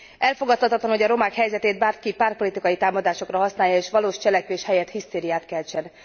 Elfogadhatatlan, hogy a romák helyzetét bárki pártpolitikai támadásokra használja, és valós cselekvés helyett hisztériát keltsen.